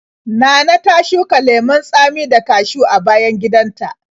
Nana ta shuka lemon tsami da kashiw a bayan gidanta.